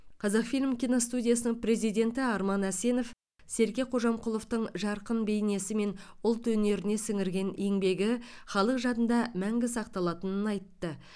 қазақфильм киностудиясының президенті арман әсенов серке қожамқұловтың жарқын бейнесі мен ұлт өнеріне сіңірген еңбегі халық жадында мәңгі сақталатынын айтты